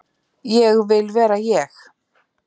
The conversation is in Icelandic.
Ég vil vera ég.